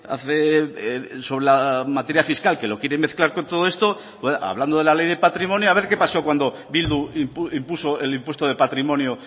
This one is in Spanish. hace sobre la materia fiscal que lo quiere mezclar con todo esto hablando de la ley de patrimonio a ver qué pasó cuando bildu impuso el impuesto de patrimonio